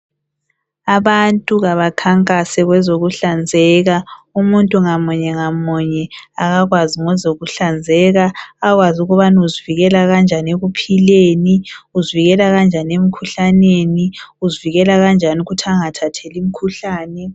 Abantu kabankankase kwezokuhlanzeka. Umuntu ngamunye ngamunye abekwazi ngozokuhlanzeka, akwazi ukuthi uzivikela kunjani ekuphileni, uzivikela kunjani emikhuhlaneni, uzivikela kunjani ukuthi angathatheli imikhuhlane.